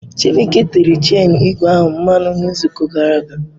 Chibuike tere chenu ígwè ahụ mmanụ n'izuụka gara aga.